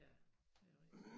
Ja det er rigtigt